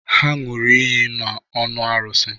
Ha ṅụrụ iyi n'ọnụ arụsi.